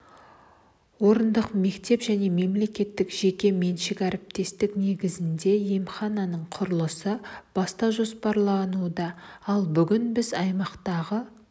орындық мектеп және мемлекеттік-жеке меншік әріптестік негізінде емхананың құрылысын бастау жоспарлануда ал бүгін біз аймақтағы